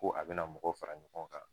Ko a bɛna mɔgɔw fara ɲɔgɔn kan